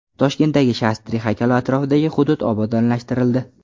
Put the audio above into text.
Toshkentdagi Shastri haykali atrofidagi hudud obodonlashtirildi.